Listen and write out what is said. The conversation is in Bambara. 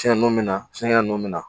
Tiɲɛni bɛ na fɛnkɛ ninnu bi na.